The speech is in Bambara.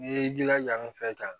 N'i y'i jilaja an fɛ yan